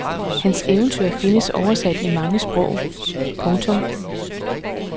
Hans eventyr findes oversat i mange sprog. punktum